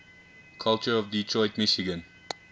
culture of detroit michigan